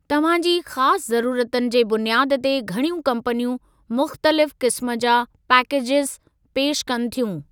तव्हां जी ख़ासि ज़रुरतुनि जे बुनियाद ते घणियूं कम्पनियूं मुख़्तलिफ़ क़िस्मु जा पेकेजिज़ पेश कनि थियूं।